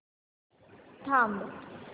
थांब